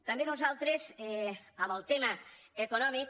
també nosaltres en el tema econòmic